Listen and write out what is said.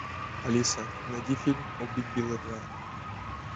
алиса найди фильм убить билла два